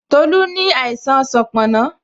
Tola ní àìsàn sanponna